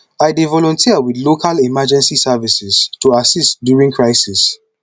i dey volunteer with local emergency services to assist during crisis